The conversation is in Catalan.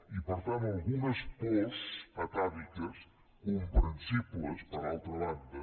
i per tant algunes pors atàviques comprensibles per altra banda